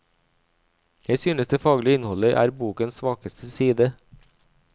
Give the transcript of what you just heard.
Jeg synes det faglige innholdet er bokens svakeste side.